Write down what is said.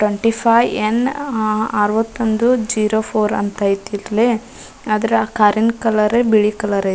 Twenty five ಎನ್ನ್ ಆಆ ಅರ್ವತ್ತೊಂದು ಜಿರೋ ಫೋರ್ ಅಂತ ಐತಿಲ್ಲಿ ಅದ್ರ ಕಾರಿನ್ ಕಲರ್ ಬಿಳಿ ಕಲರ್ ಐತ್.